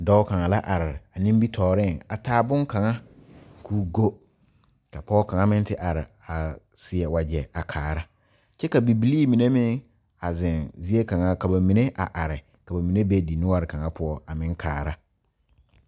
Dɔɔ kaŋa la are nimitɔɔre a taa bon kaŋa ko'o gɔ ka pɔge kaŋa meŋ are a seɛ wagye a kaara Bibilee mine meŋ a zeŋ zaa kaŋa ka ba mine a are ka ba mine de di noɔre kaŋa poɔ a meŋ kaara.